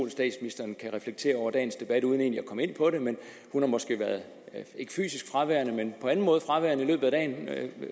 at statsministeren kan reflektere over dagens debat uden egentlig at komme ind på det men hun har måske været ikke fysisk men på anden måde fraværende